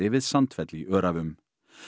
við Sandfell í Öræfum